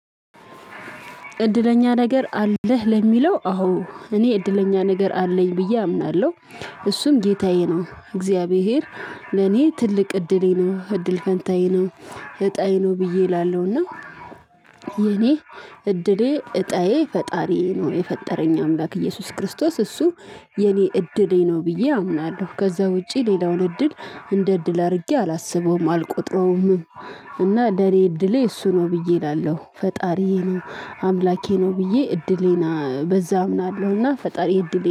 እድለኛ ነገር አለህ ለሚለው አዎ እኔ እድለኛ ነገር አለኝ ብዬ አምናለሁ። እሱም ጌታዬ ነው እግዚአብሔር። ለኔ ትልቅ እድሌ ነው እድል ፈንታዬ ነው። እጣዬ ነው ብዬ እላለሁና። የኔ እድሌ እጣዬ ፈጣሪዬ ነው የፈጠረኝ አምላክ ኢየሱስ ክርስቶስ እሱ የኔ እድሌ ነው ብዬ አምናለሁ። ከዛ ውጪ ሌላውን እድል እንደ እድል አድርጌ አላስበውም አልቆጥረውም። እና ለኔ እድሌ እሱ ነው ብዬ እላለሁ ፈጣሪዬ ነው። አምላኬ ነው ብዬ እድሌና በዛ እምናለሁና ፈጣሪ እድሌ